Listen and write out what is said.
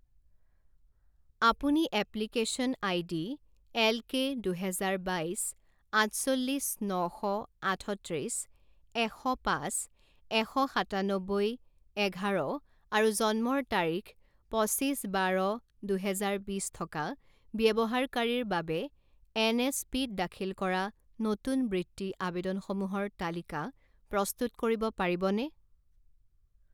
আপুনি application ID এলকে দুহেজাৰ বাইছ আঠচল্লিছ ন শ আঠত্ৰিছ এশ পাঁচ এশ সাতান্নব্বৈ এঘাৰ আৰু জন্মৰ তাৰিখ পঁচিছ বাৰ দুহেজাৰ বিছ থকা ব্যৱহাৰকাৰীৰ বাবে এনএছপিত দাখিল কৰা নতুন বৃত্তি আবেদনসমূহৰ তালিকা প্ৰস্তুত কৰিব পাৰিবনে?